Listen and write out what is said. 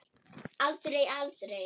Aldrei, aldrei.